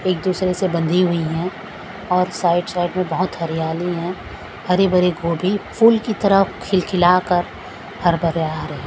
एक दूसरे से बंधी हुई हैं और साइड साइड में बहुत हरियाली हैं हरे भरे गोभी फूल की तरह खिलखिलाकर हरिबरिया हैं।